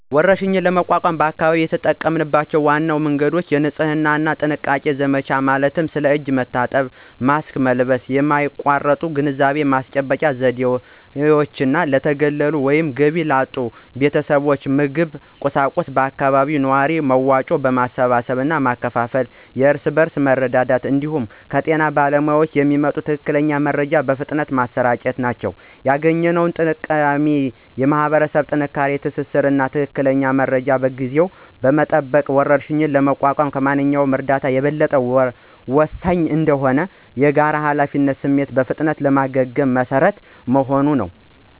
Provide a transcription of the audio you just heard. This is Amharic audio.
ወረርሽኝን ለመቋቋም በአካባቢው የተጠቀሙባቸው ዋና መንገዶች: የንጽህና እና ጥንቃቄ ዘመቻ ማለትም ስለ እጅ መታጠብ እና ማስክ መልበስ የማያቋርጥ ግንዛቤ ማስጨበጫ ዘመቻዎች፣ ለተገለሉ ወይም ገቢ ላጡ ቤተሰቦች ምግብና ቁሳቁስ በአካባቢው ነዋሪዎች መዋጮ ማሰባሰብ እና ማከፋፈል (የእርስ በርስ መረዳዳት) እንዲሁም ከጤና ባለሙያዎች የሚመጣን ትክክለኛ መረጃ በፍጥነት ማሰራጨት ናቸው። ያገኘነው ጠቀሜታም የማኅበረሰብ ጠንካራ ትስስር እና ትክክለኛ መረጃን በጊዜ መጠቀም ወረርሽኝን ለመቋቋም ከማንኛውም እርዳታ የበለጠ ወሳኝ እንደሆነ እና የጋራ ኃላፊነት ስሜት በፍጥነት ለማገገም መሰረት መሆኑን ነው።